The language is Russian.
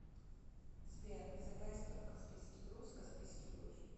сбер зе бест оф каспийский груз каспийский груз